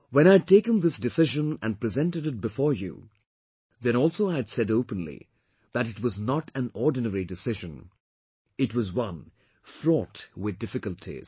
When I had taken this decision and presented it before you, then also I had said openly that it was not an ordinary decision, it was one fraught with difficulties